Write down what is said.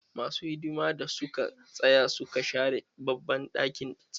Ma su hidima da suka tsaya suka share babban ɗakin taron.